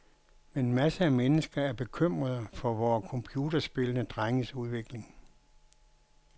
Men masser af mennesker er bekymrede for vore computerspillende drenges udvikling.